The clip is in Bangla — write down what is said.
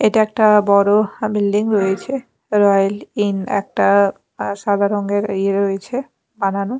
এটা একটা বড় আ বিল্ডিং রয়েছে রয়েল ইন একটা সাদা রঙের ইয়ে রয়েছে বানানো।